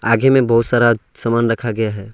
आगे में बहुत सारा सामान रखा गया है।